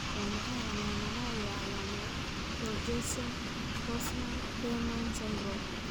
Waa maxay calaamadaha iyo calaamadaha Borjeson Forssman Lehmann syndrome?